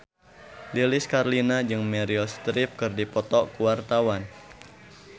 Lilis Karlina jeung Meryl Streep keur dipoto ku wartawan